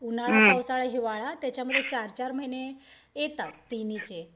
उन्हाळा, पावसाळा, हिवाळा त्याच्यामध्ये चार चार महिने येतात तिन्हींचे.